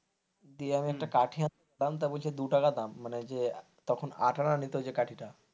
তো আমি একটা কাঠি আনতে দিলাম বলছে দু টাকা দাম যে তখন আট আনা নিতো যে কাঠিটা,